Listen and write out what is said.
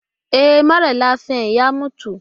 E, mara lafiyar ya mutu.